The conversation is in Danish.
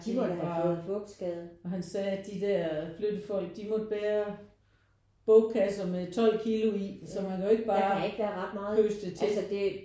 De var bare han sagde at de der flyttefolk de kunne ikke bære bogkasser med 12 kilo i. Så man kan jo ikke bare pøse det til